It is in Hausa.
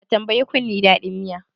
Ka tambayi kunne dadin miya?